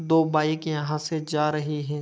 दो बाइक यहाँ से जा रहें हैं।